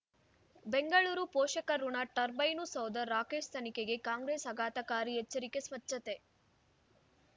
ಬೆಂಗಳೂರು ಪೋಷಕಋಣ ಟರ್ಬೈನು ಸೌಧ ರಾಕೇಶ್ ತನಿಖೆಗೆ ಕಾಂಗ್ರೆಸ್ ಆಘಾತಕಾರಿ ಎಚ್ಚರಿಕೆ ಸ್ವಚ್ಛತೆ